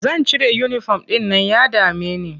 Zan cire uniform ɗin nan ya dame ni.